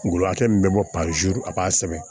Ngɔlɔkɛ min bɛ bɔ a b'a sɛbɛn